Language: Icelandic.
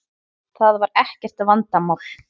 Það var ekkert vandamál.